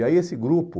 E aí esse grupo...